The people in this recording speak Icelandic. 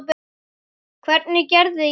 Hvernig gerði ég það?